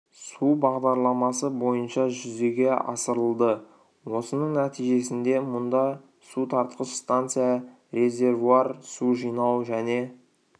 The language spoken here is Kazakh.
су бағдарламасы бойынша жүзеге асырылды осының нәтижесінде мұнда су тартқыш станция резервуар су жинау және